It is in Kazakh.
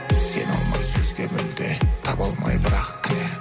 сене алмай сөзге мүлде таба алмай бірақ кінә